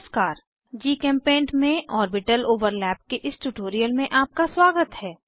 नमस्कार जीचेम्पेंट में orbital overlap के इस ट्यूटोरियल में आपका स्वागत है